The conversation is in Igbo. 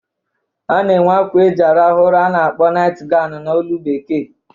A na-enwe akwa eji arahụ ụra a na-akpọ naịt ganwụ n'olu Bekee.